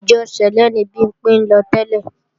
Ìjọ sẹ̀lẹ́ ni Bimpé ń lọ tẹ́lẹ̀